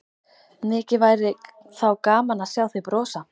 Mikið væri þá gaman að sjá þig brosa!